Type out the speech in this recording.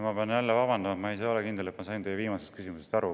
Ma pean jälle vabandust paluma, ma ei ole kindel, et ma sain teie viimasest küsimusest aru.